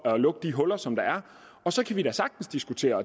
at lukke de huller som der er og så kan vi da sagtens diskutere